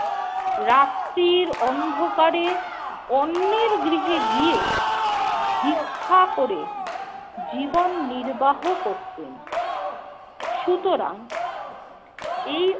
রাত্রির অন্ধকারে অন্যের গৃহে গিয়ে ভিক্ষা করে জীবন নির্বাহ করতেন। সুতরাং এই